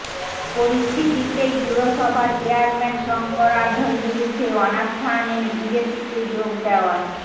পরিস্থিতিতেই পুরসভার চেয়ারম্যান শঙ্কর আঢ্যর বিরুদ্ধে অনাস্থা আনেন বিজেপিতে যোগ দেওয়া